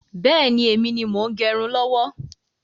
Bẹ́ẹ̀ni, èmi ni mo ń gẹrun lọ́wọ́